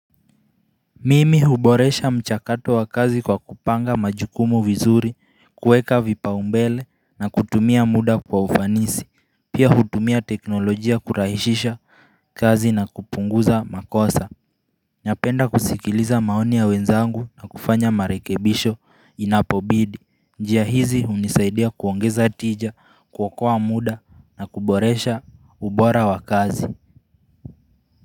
Mimi huboresha mchakato wa kazi kwa kupanga majukumu vizuri, kuweka vipa umbele na kutumia muda kwa ufanisi, pia hutumia teknolojia kurahishisha kazi na kupunguza makosa. Napenda kusikiliza maoni ya wenzangu na kufanya marekebisho inapobidi. Njia hizi unisaidia kuongeza tija kuokoa muda na kuboresha ubora wa kazi.